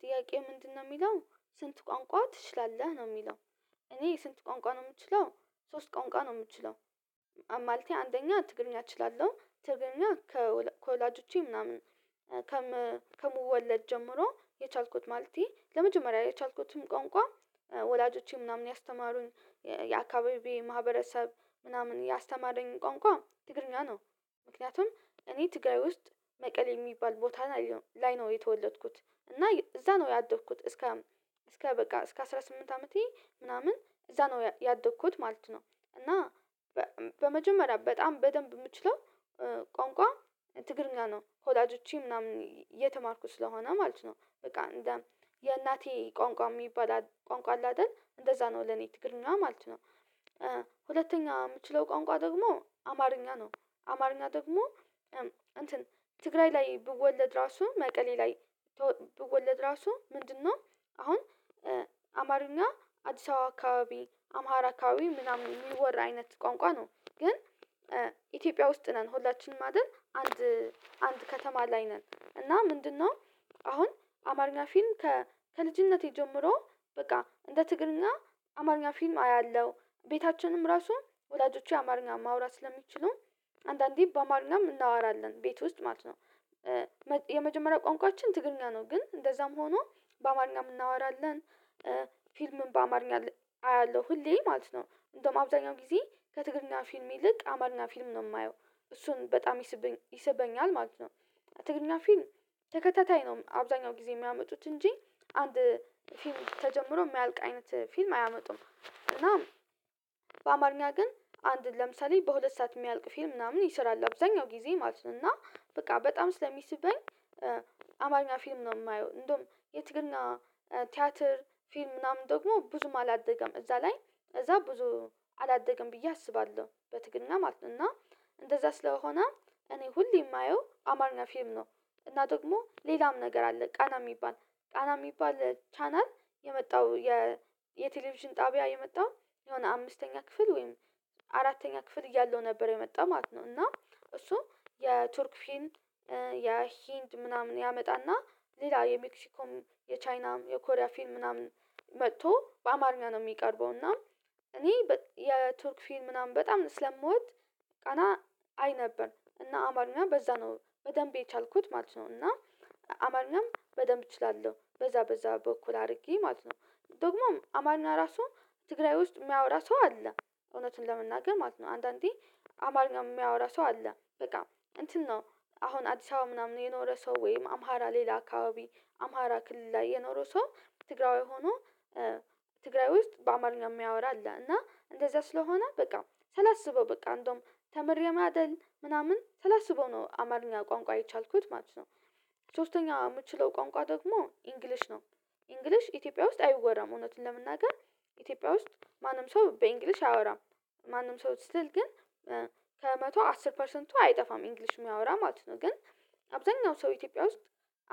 ጥያቄው ምንድነው የሚለው ስንት ቋንቋ ትችላለህ ነው የሚለው? እኔ ስንት ቋንቋ ነው የምችለው ሶስት ቋንቋ ነው የምችለው። ማለቴ አንደኛ ትግረኛ እችላለሁ ትግረኛ ከወላጆቼ ምናምን ከምወለድ ጀምሮ የቻልኩት ማለቴ ለመጀመሪያ የቻልኩትም ቋንቋ ወላጆቼ ምናምን ያስተማሩን የአካባቢ ማህበረሰብ ምናምን ያስተማረኝ ቋንቋ ትግረኛ ነው። ምክንያቱም እኔ ትግራይ ውስጥ መቀሌ የሚባል ቦታ ላይ ነው የተወለድኩት እና እዛ ነው ያደግኩት እስከ እስከ በቃ እስከ አስራ ስምንት አመቴ ምናምን እዛ ነው ያደኩት ማለት ነው። እና በመጀመሪያ በጣም በደንብ የምችለው ቋንቋ ትግረኛ ነው ወላጆቼ ምናምን እየተማርኩ ስለሆነ ማለት ነው በቃ የእናቴ ቋንቋ የሚባል ቋንቋ አለ አይደል እንደዛ ነው ለኔ ትግረኛ ምናምን ማለት ነው። ሁለተኛ የምችለው ቋንቋ ደግሞ አማርኛ ነው። አማርኛ ደግሞ እንትን ትግራይ ላይ በወለድ ራሱ መቀሌ ላይ በወለድ ራሱ ምንድነው አሁን አማርኛ አዲስ አበባ አካባቢ አማራ አካባቢ ምናምን የሚወራ አይነት ቋንቋ ነው። ግን ኢትዮጵያ ውስጥ ነን ሁላችንም አይደል አንድ አንድ ከተማ ላይ ነን እና ምንድነው አሁን አማርኛ ፊልም ከልጅነቴ ጀምሮ በቃ እንደ ትግርኛ አማርኛ ፊልም አያለሁ ቤታችንም ራሱ ወዳጆቹ አማርኛ ማውራት ስለሚችሉን አንዳንዴ በአማርና እናወራለን ቤት ውስጥ ማለት ነው። የመጀመሪያ ቋንቋችን ትግርኛ ነው ግን እንደዛም ሆኖ በአማርኛ እናወራለን ፊልምን በአማርኛ አያለሁ ሁሌ ማለት ነው እንደውም አብዛኛው ጊዜ ከትግረኛ ፊልም ይልቅ አማርና ፊልም ነው የማየው እሱን በጣም ይሰበኛል ማለት ነው። ትግረኛ ፊልም ተከታታይ ነው አብዛኛው ጊዜ የሚያመጡት እንጂ አንድ ፊልም ተጀምሮ የሚያልቅ አይነት ፊልም አያመጡም እና በአማርኛ ግን አንድን ለምሳሌ በሁለት ሰዓት የሚያልቅ ፊልም ምናምን ይሰራል አብዛኛው ጊዜ ማለት ነው። እና በቃ በጣም ስለሚስበኝ አማርኛ ፊልም ነው የማየው እንደውም የትግረኛ ቲያትር ፊልም ምናምን ደግሞ ብዙም አላደገም እዛ ላይ እዛ ብዙ አላደገም ብዬ አስባለሁ በትግረኛ ማለት ነው። እና እንደዛ ስለሆነ እኔ ሁሌ የማየው አማርኛ ፊልም ነው። እና ደግሞ ሌላም ነገር አለ ቃና የሚባል ቃና የሚባል ቻናል የመጣው የቴሌቪዥን ጣቢያ የመጣው የሆነ አምስተኛ ክፍል ወይም አራተኛ ክፍል እያለው ነበር የመጣው ማለት ነው። እና እሱ የቱርክ ፌልም የህንድ ምናምን ያመጣና ሌላ የሜክሲኮም የቻይናም የኮሪያ ፊልም ምናምን መጥቶ በአማርኛ ነው የሚቀርበው እና እኔ የቱርክ ፊልም ምናምን በጣም ስለምወድ ቃና አይ ነበር እና አማርኛ በዛ ነው በደንብ የቻልኩት ማለት ነው። እና አማርኛም በደንብ እችላለሁ በዛ በዛ በኩል አድርጌ ማለት ነው ደግሞም አማርኛ ራሱ ትግራይ ውስጥ የሚያወራ ሰው አለ እውነትን ለመናገር ማለት ነው አንዳንዴ አማርኛ የሚያወራ ሰው አለ በቃ እንትን ነው። አሁን አዲስ አበባ ምናምን የኖረ ሰው ወይም አማራ ሌላ አካባቢ አማራ ክልል ላይ የኖረው ሰው ትግራዋ ሆኖ ትግራይ ውስጥ በአማርኛ የሚያወራ አለ እና እንደዛ ስለሆነ በቃ ሳላስበው በቃ እንደውም ተምሬ ማደል ምናምን ሰላሳ ሰበው ነው አማርኛ ቋንቋ የቻልኩት ማለት ነው። ሶስተኛ የምችለው ቋንቋ ደግሞ ኢንግሊሽ ነው። ኢንግሊሽ ኢትዮጵያ ውስጥ አይወራም እውነትን ለመናገር ኢትዮጵያ ውስጥ ማንም ሰው በእንግሊሽ አያወራም ማንም ሰው ስትል ግን ከመቶ አስር ፐርሰንቱ አይጠፋም እንግሊሽ የሚያወራ ማለት ነው። ግን አብዛኛው ሰው ኢትዮጵያ ውስጥ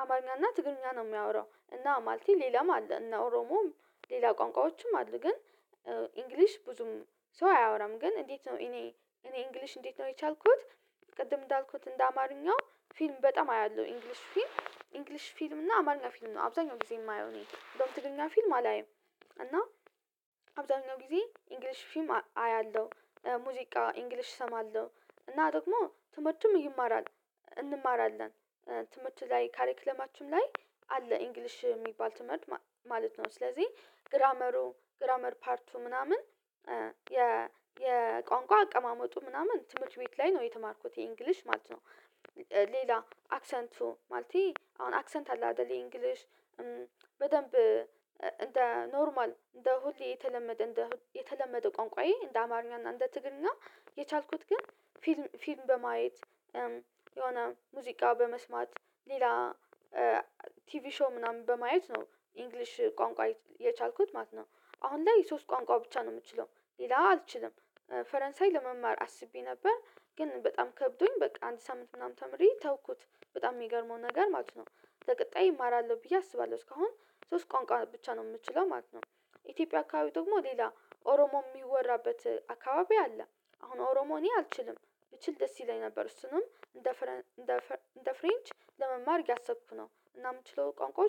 አማርኛና ትግርኛ ነው የሚያወራው እና ማለቴ ሌላም አለ እና ኦሮሞም ሌላ ቋንቋዎችም አሉ ግን ኢንግሊሽ ብዙም ሰው አያወራም ግን እንዴት ነው እኔ እኔ እንግሊሽ እንዴት ነው የቻልኩት? ቅድም እንዳልኩት እንደ አማርኛው ፊልም በጣም አያለሁ ኢንግሊሽ ፊልም ኢንግሊሽ ፊልም እና አማርኛ ፊልም ነው አብዛኛው ጊዜ የማየው እኔ ደግሞ በትግረኛ ፊልም አላይም። እና አብዛኛው ጊዜ እንግሊሽ ፊልም አያለሁ ሙዚቃ እንግሊሽ እሰማለሁ እና ደግሞ ትምህርቱም ይማራል እንማራለን ትምህርት ላይ ካሬክለማችን ላይ አለ እንግሊሽ የሚባል ትምህርት ማለት ነው ስለዚህ ግራመሩ ግራመር ፓርቱ ምናምን የ የቋንቋ አቀማመጡ ምናምን ትምህርት ቤት ላይ ነው የተማርኩት የእንግሊሽ ማለት ነው። ሌላ አክሰንቱ ማለት አሁን አክሰንት አለ አይደለ እንግሊሽ በደንብ እንደ ኖርማል እንደ ሁሌ የተለመደ እንደ የተለመደ ቋንቋዬ እንደ አማርኛ እንደ ትግረኛና የቻልኩት ግን ፊልም በማየት የሆነ ሙዚቃ በመስማት ሌላ ቲቪ ሾው ምናምን በማየት ነው እንግሊሽ ቋንቋ የቻልኩት ማለት ነው። አሁን ላይ ሶስት ቋንቋ ብቻ ነው የምትችለው ሌላ አልችልም። ፈረንሳይ ለመማር አስቤ ነበር ግን በጣም ከብዶኝ በቃ አንተ ሳምንት ምናምን ተምሬ ተውኩት በጣም የሚገርመው ነገር ማለት ነው ለቀጣይ እማራለሁ ብዬ አስባለሁ እስካሁን ሶስት ቋንቋ ብቻ ነው የምትችለው ማለት ነው። ኢትዮጵያ አካባቢ ደግሞ ሌላ ኦሮሞ የሚወራበት አካባቢ አለ አሁን ኦሮሞ አልችልም። ብችል ደስ ይለኝ ነበር እሱንም እንደ ፍሬንች ለመማር ያሰብኩ ነው እናም ምችለው ቋንቋ ዉስጥ